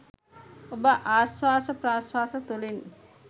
ඔබ ආශ්වාස ප්‍රශ්වාස තුළින්